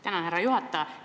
Tänan, härra juhataja!